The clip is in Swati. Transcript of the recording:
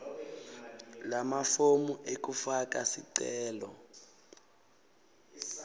lamafomu ekufaka sicelo